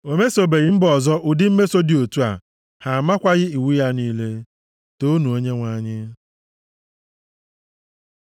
O mesobeghị mba ọzọ ụdị mmeso dị otu a. Ha amakwaghị iwu ya niile. Toonu Onyenwe anyị!